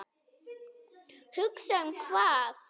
Hugsa um hvað?